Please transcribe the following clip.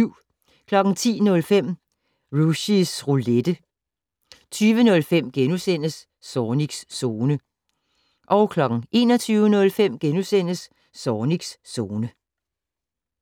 10:05: Rushys Roulette 20:05: Zornigs Zone * 21:05: Zornigs Zone *